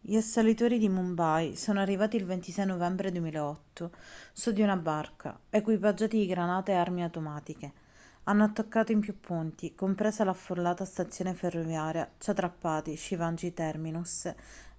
gli assalitori di mumbai sono arrivati il 26 novembre 2008 su di una barca equipaggiati di granate e armi automatiche hanno attaccato in più punti compresa l'affollata stazione ferroviaria chhatrapati shivaji terminus